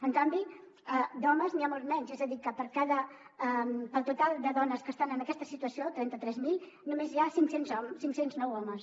en canvi d’homes n’hi ha molts menys és a dir que pel total de dones que estan en aquesta situació trenta tres mil només hi ha cinc cents i nou homes